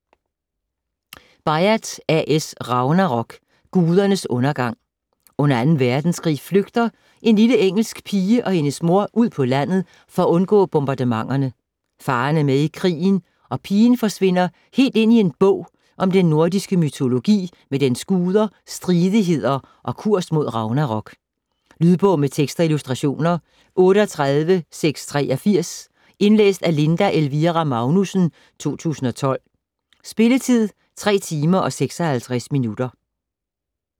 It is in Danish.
Byatt, A. S.: Ragnarok: gudernes undergang Under 2. verdenskrig flygter en lille engelsk pige og hendes mor ud på landet for undgå bombardementerne. Faderen er med i krigen, og pigen forsvinder helt ind i en bog om den nordiske mytologi med dens guder, stridigheder og kurs mod ragnarok. Lydbog med tekst og illustrationer 38683 Indlæst af Linda Elvira Magnussen, 2012. Spilletid: 3 timer, 56 minutter.